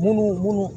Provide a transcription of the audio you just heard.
Munnu munnu